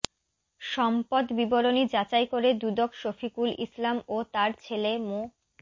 সম্পদ বিবরণী যাচাই করে দুদক শফিকুল ইসলাম ও তার ছেলে মো